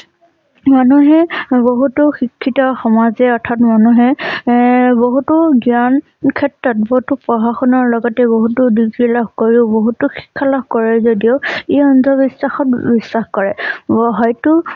মানুহে বহুতো শিক্ষিত সমাজে অৰ্থাৎ মানুহে এ বহুতো জ্ঞান ক্ষেত্ৰত বহুতো পঢ়া শুনাৰ লগতে বহুতো লাভ কৰিও বহুতো খেলা কৰে যদিও ই অন্ধ বিশ্বাসত বিশ্বাস কৰে। হয়টো